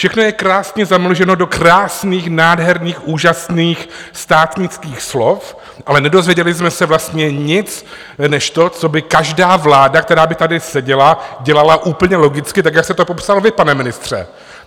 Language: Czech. Všechno je krásně zamlženo do krásných, nádherných, úžasných státnických slov, ale nedozvěděli jsme se vlastně nic než to, co by každá vláda, která by tady seděla, dělala úplně logicky tak, jak se to popsal vy, pane ministře.